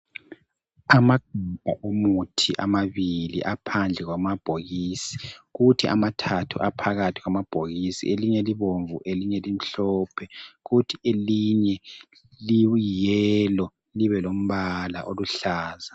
Amagabha emithi amabili aphandle kwamabhokisi kuthi amathathu aphakathi kwamabhokisi. Elinye libomvu elinye limhlophe kuthi elinye liyelo libe lombala oluhlaza.